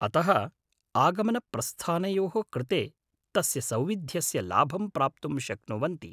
अतः आगमनप्रस्थानयोः कृते तस्य सौविध्यस्य लाभं प्राप्तुं शक्नुवन्ति ।